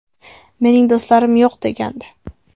Mening do‘stlarim yo‘q”, – degandi.